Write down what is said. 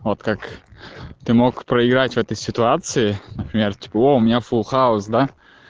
вот как ты мог проиграть в этой ситуации например типо о у меня фул хаус да